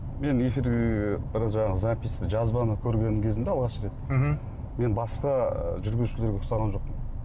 мен эфирге бір жаңағы запись жазбаны көрген кезімде алғаш рет мхм мен басқа жүргізушілерге ұқсаған жоқпын